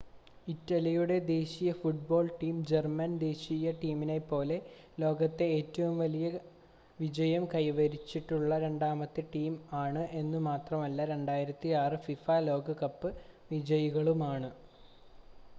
ഇറ്റലിയുടെ ദേശീയ football team German ദേശീയ ടീമിനെപ്പോലെ ലോകത്തെ ഏറ്റവും വിജയം കൈവരിച്ചിട്ടുള്ള രണ്ടാമത്തെ ടീമാണ് എന്നുമാത്രമല്ല 2006 ഫിഫ ലോകകപ്പ് വിജയികളുമാണ്